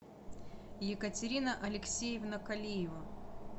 екатерина алексеевна калиева